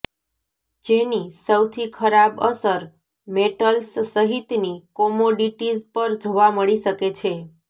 જેની સૌથી ખરાબ અસર મેટલ્સ સહિતની કોમોડિટીઝ પર જોવા મળી શકે છે